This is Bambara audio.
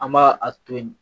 An b'a a to yen